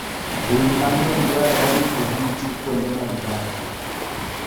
Winy mang'eny dwarore ni oriti kuonde ma gidakie.